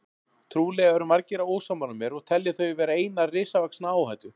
Trúlega eru margir ósammála mér og telja þau vera eina risavaxna áhættu.